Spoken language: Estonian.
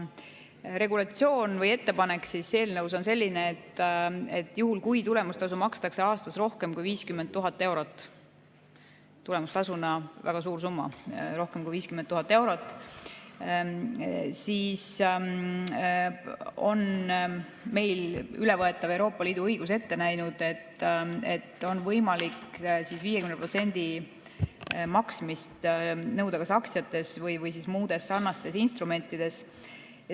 Regulatsioon või ettepanek eelnõus on selline, et juhul, kui tulemustasu makstakse aastas rohkem kui 50 000 eurot – tulemustasuna väga suur summa, rohkem kui 50 000 eurot –, siis on meil ülevõetav Euroopa Liidu õigus ette näinud, et on võimalik 50% maksmist nõuda kas aktsiates või muudes sarnastes instrumentides.